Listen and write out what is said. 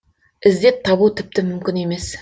іздеп табу тіпті мүмкін емес